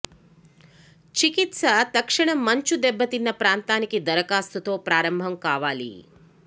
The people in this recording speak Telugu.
చికిత్స తక్షణ మంచు దెబ్బతిన్న ప్రాంతానికి దరఖాస్తు తో ప్రారంభం కావాలి